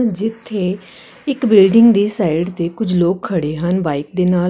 ਜਿੱਥੇ ਇਕ ਬਿਲਡਿੰਗ ਦੀ ਸਾਈਡ ਤੇ ਕੁਝ ਲੋਕ ਖੜੇ ਹਨ ਬਾਈਕ ਦੇ ਨਾਲ।